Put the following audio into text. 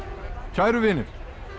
kæru vinir